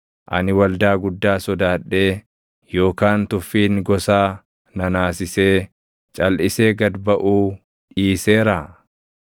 ani waldaa guddaa sodaadhee yookaan tuffiin gosaa na naasisee, calʼisee gad baʼuu dhiiseeraa?